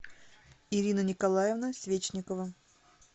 ирина николаевна свечникова